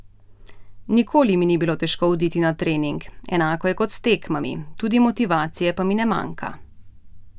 Nikoli mi ni bilo težko oditi na trening, enako je kot s tekmami, tudi motivacije pa mi ne manjka.